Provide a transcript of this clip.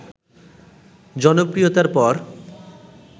জনপ্রিয়তার পর